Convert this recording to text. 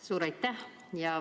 Suur aitäh!